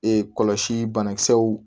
Ee kɔlɔsi banakisɛw